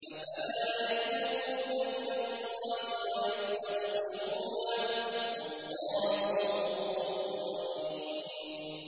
أَفَلَا يَتُوبُونَ إِلَى اللَّهِ وَيَسْتَغْفِرُونَهُ ۚ وَاللَّهُ غَفُورٌ رَّحِيمٌ